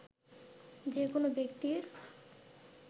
যে কোন ব্যক্তির